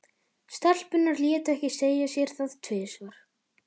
Stelpurnar létu ekki segja sér það tvisvar.